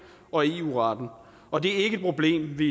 og i eu retten og det er ikke et problem vi